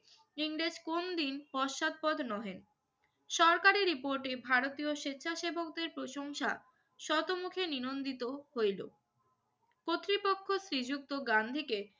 ইংরেজ কোনদিন পশ্চাদপদ নহে। সরকারি রিপোর্টে ভারতীয় স্বেচ্ছাসেবকদের প্রশংসা সম্মুখে নিনন্দিত হইল। কর্তৃপক্ষ শ্রীযুক্ত গান্ধীকে